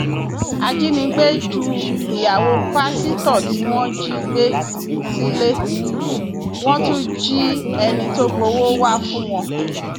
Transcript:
ajínigbé ju ìyàwó pásítọ tí wọn jí gbé sílé wọn tún jí ẹni tó gbowó wàá fún wọn